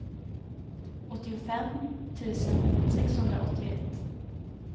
åttiofem tusen sexhundraåttioett